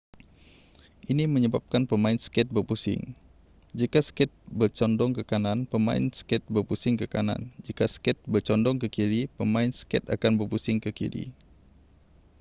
ini menyebabkan pemain skate berpusing jika skate bercondong ke kanan pemain skate berpusing ke kanan jika skate bercondong ke kiri pemain skate akan berpusing ke kiri